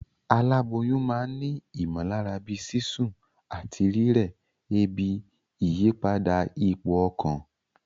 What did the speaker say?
Aláboyún ma n ni ìmòlára bíi sísún àtí rírè, ebi, ìyípadà ipò okàn